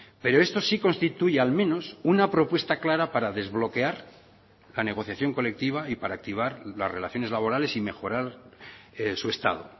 pero esto sí constituye al menos una propuesta clara para desbloquear la negociación colectiva y para activar las relaciones laborales y mejorar su estado